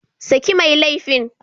Saki mai laifin!